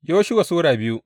Yoshuwa Sura biyu